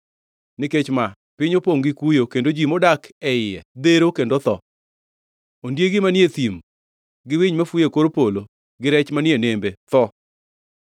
Nikech ma, piny opongʼ gi kuyo kendo ji modak e iye dhero kendo tho; ondiegi manie thim gi winy mafuyo e kor polo gi rech manie nembe tho.